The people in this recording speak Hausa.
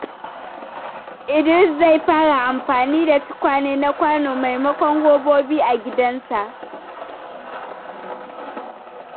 Idris zai fara amfani da tukwane na kwano maimakon robobi a gidansa.